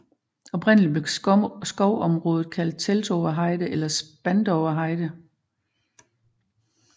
Oprindeligt blev skovområdet kaldt Teltower Heide eller Spandower Heide